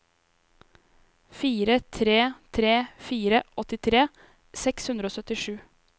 fire tre tre fire åttitre seks hundre og syttisju